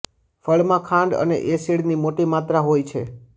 ફળમાં ખાંડ અને એસિડની મોટી માત્રા હોય છે